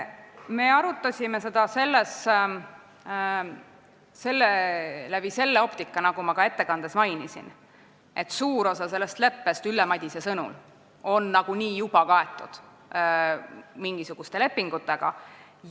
Me arutasime seda läbi selle optika, nagu ma ka ettekandes mainisin, et suur osa sellest leppest on Ülle Madise sõnul nagunii juba mingisuguste lepingutega kaetud.